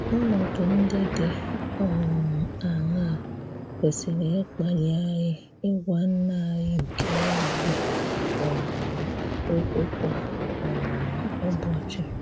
Ọ̀nọdụ̀ ndị̀ dị um aṅaà kwesịrị̀ ịkpàlì anyị ịgwà Nna anyị nke eluigwe um okwù kwa um ụbọchị.